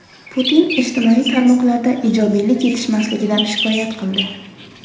Putin ijtimoiy tarmoqlarda ijobiylik yetishmasligidan shikoyat qildi.